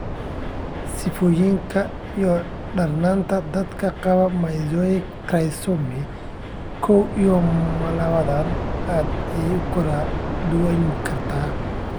Sifooyinka iyo darnaanta dadka qaba mosaic trisomy kow iyo mlawatan aad ayey u kala duwanaan kartaa.